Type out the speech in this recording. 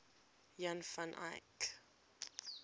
jan van eyck